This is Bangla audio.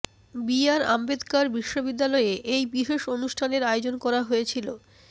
বি আর আম্বেদকার বিশ্ববিদ্যালয়ে এই বিশেষ অনুষ্ঠানের আয়োজন করা হয়েছিল